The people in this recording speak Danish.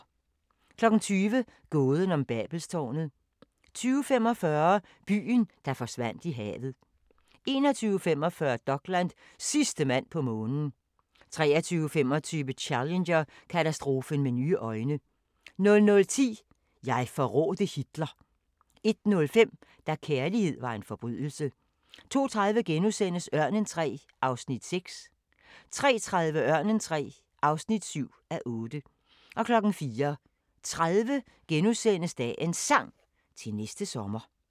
20:00: Gåden om Babelstårnet 20:45: Byen, der forsvandt i havet 21:45: Dokland: Sidste mand på månen 23:25: Challenger-katastrofen med nye øjne 00:10: Jeg forrådte Hitler 01:05: Da kærlighed var en forbrydelse 02:30: Ørnen III (6:8)* 03:30: Ørnen III (7:8) 04:30: Dagens Sang: Til næste sommer *